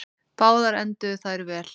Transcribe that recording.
Báðar enduðu þær vel.